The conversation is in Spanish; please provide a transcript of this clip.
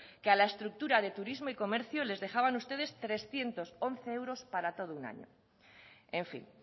que a la estructura de turismo y comercio les dejaban ustedes trescientos once euros para todo un año en fin